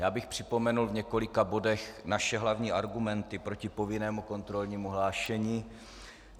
Já bych připomenul v několika bodech naše hlavní argumenty proti povinnému kontrolnímu hlášení.